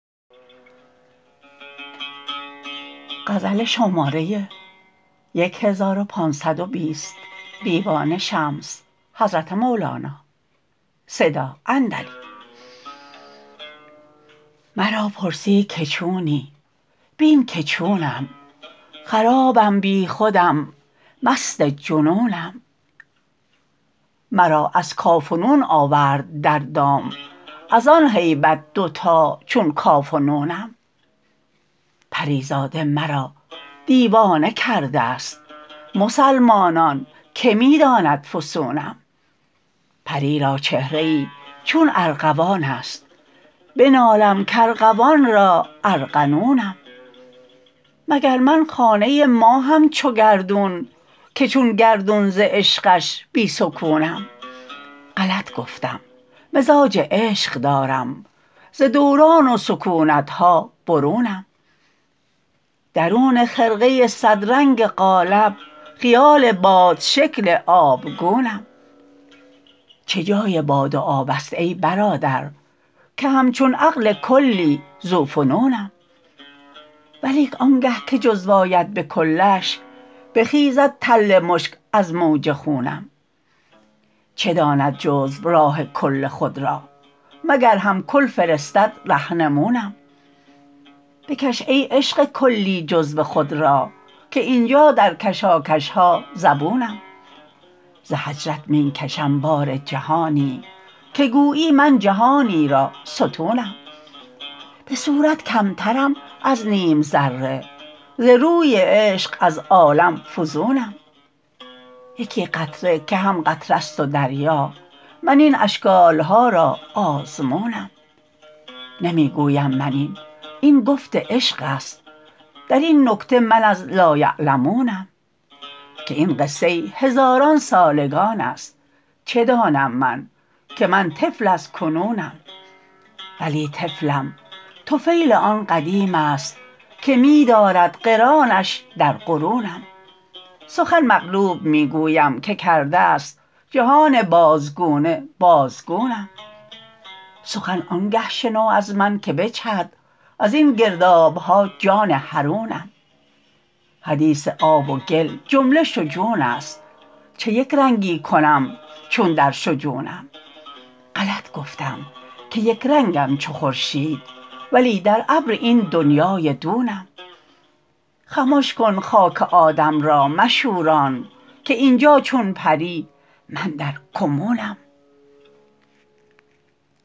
مرا پرسی که چونی بین که چونم خرابم بی خودم مست جنونم مرا از کاف و نون آورد در دام از آن هیبت دوتا چون کاف و نونم پری زاده مرا دیوانه کرده ست مسلمانان که می داند فسونم پری را چهره ای چون ارغوان است بنالم کارغوان را ارغنونم مگر من خانه ی ماهم چو گردون که چون گردون ز عشقش بی سکونم غلط گفتم مزاج عشق دارم ز دوران و سکونت ها برونم درون خرقه ی صدرنگ قالب خیال بادشکل آبگونم چه جای باد و آب است ای برادر که همچون عقل کلی ذوفنونم ولیک آنگه که جزو آید به کلش بخیزد تل مشک از موج خونم چه داند جزو راه کل خود را مگر هم کل فرستد رهنمونم بکش ای عشق کلی جزو خود را که این جا در کشاکش ها زبونم ز هجرت می کشم بار جهانی که گویی من جهانی را ستونم به صورت کمترم از نیم ذره ز روی عشق از عالم فزونم یکی قطره که هم قطره ست و دریا من این اشکال ها را آزمونم نمی گویم من این این گفت عشق است در این نکته من از لایعلمونم که این قصه هزاران سالگان است چه دانم من که من طفل از کنونم ولی طفلم طفیل آن قدیم است که می دارد قرانش در قرونم سخن مقلوب می گویم که کرده ست جهان بازگونه بازگونم سخن آنگه شنو از من که بجهد از این گرداب ها جان حرونم حدیث آب و گل جمله شجون است چه یک رنگی کنم چون در شجونم غلط گفتم که یک رنگم چو خورشید ولی در ابر این دنیای دونم خمش کن خاک آدم را مشوران که این جا چون پری من در کمونم